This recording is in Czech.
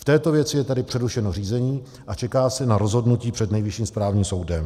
V této věci je tedy přerušeno řízení a čeká se na rozhodnutí před Nejvyšším správním soudem.